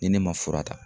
Ni ne ma fura ta